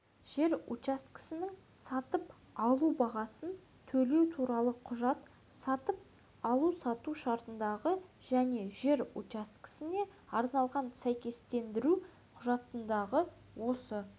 жер учаскесінің сатып алу бағасын төлеу туралы құжат сатып алу-сату шартындағы және жер учаскесіне арналған сәйкестендіру құжатындағы осы